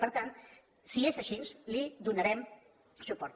per tant si és així li donarem suport